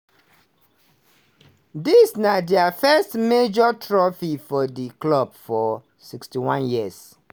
dis na dia first major trophy for di club for 61 years.